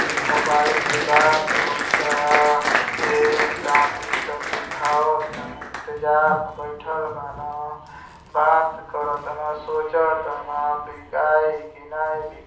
Mobile से बात होता। पेन कापी सब दिखावतन। इंतजार में बइठल बान। बात करतन सोचतन बिकाई की नाही बि ----